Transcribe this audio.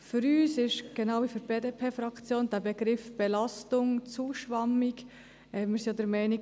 Für uns ist der Begriff «Belastung» zu schwammig, genau wie für die BDP-Fraktion.